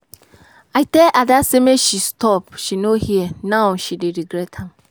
I tell Ada make she stop she no hear now she dey regret am